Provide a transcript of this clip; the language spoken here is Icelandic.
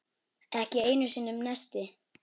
Ekki einu sinni neisti.